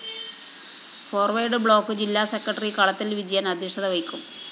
forward Bloc ജില്ലാ secretary Kalathil‍ Vijayan‍ അദ്ധ്യക്ഷത വഹിക്കും